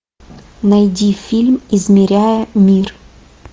найди фильм измеряя мир